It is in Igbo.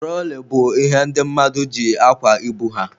Turoli bụ ihe ndị mmadụ ji akwa ibu ha.